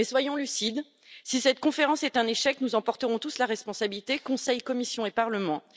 Soyons toutefois lucides si cette conférence est un échec, nous en porterons tous la responsabilité Conseil, Commission et Parlement.